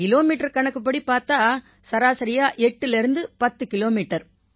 kilometre கணக்குப்படி பார்த்தா சராசரியா 8 லேர்ந்து 10 கிலோமீட்டர்